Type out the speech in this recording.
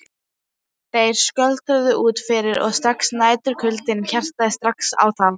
Þeir skröltu út fyrir og næturkuldinn herjaði strax á þá.